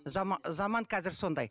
заман қазір сондай